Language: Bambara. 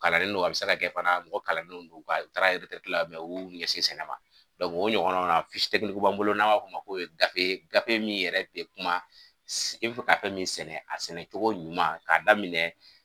Kalannen no a bɛ se ka kɛ fana mɔgɔ kalannen no o taara la mɛ u y'u ɲɛsin sɛnɛ ma, o ɲɔgɔnna b'an bolo n'a b'a f'o ma ko ye gafe ye gafe min yɛrɛ te kuma sɛ i bɛ fɛ ka fɛn min yɛrɛ sɛnɛ, a sɛnɛ cogo ɲuman k'a daminɛ